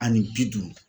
Ani bi duuru